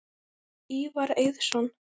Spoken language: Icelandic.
Ívar Eiðsson